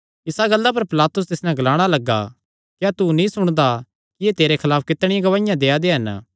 इसा गल्ला पर पिलातुस तिस नैं ग्लाणा लग्गा क्या तू नीं सुणदा कि एह़ तेरे खलाफ कितणियां गवाहियां देआ दे हन